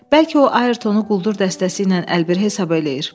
Bəlkə o Ayertonu quldur dəstəsi ilə əlbir hesab eləyir?